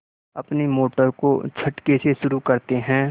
अपनी मोटर को झटके से शुरू करते हैं